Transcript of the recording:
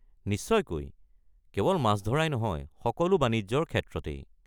নিশ্চয়কৈ! কেৱল মাছ মৰাই নহয়, সকলো বাণিজ্যৰ ক্ষেত্ৰতেই।